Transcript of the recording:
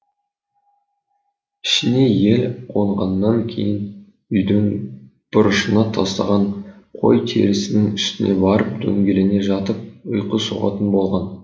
ішіне ел қонғаннан кейін үйдің бұрышына тастаған қой терісінің үстіне барып дөңгелене жатып ұйқы соғатын болған